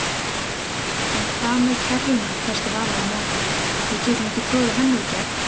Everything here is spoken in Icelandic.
En hvað með kerruna hvæsti Vala á móti, við getum ekki troðið henni í gegn